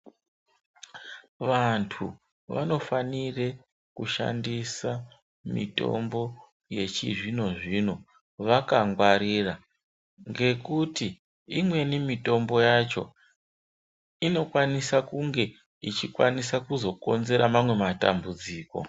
Vantu vanofanire kushandisa mitombo yechizvino-zvino vakangwarira. Ngekuti imweni mitombo yacho inokwanisa kunge ichikwanisa kuzokonzera mamwe matambudziko.